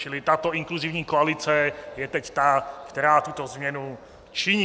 Čili tato inkluzivní koalice je teď ta, která tuto změnu činí.